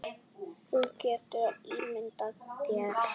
Þú getur ímyndað þér.